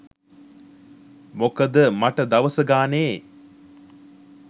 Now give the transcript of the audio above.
මොකද මට දවස ගානේ